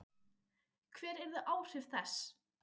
Hver yrðu áhrif þess?